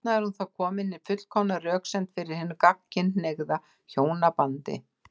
Þarna er þá komin hin fullkomna röksemd fyrir hinu gagnkynhneigða hjónabandi.